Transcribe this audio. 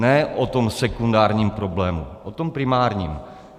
Ne o tom sekundárním problému: o tom primárním.